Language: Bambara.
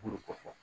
ko fɔ